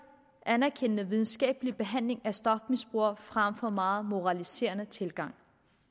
anerkendende videnskabelig behandling af stofmisbrugere frem for en meget moraliserende tilgang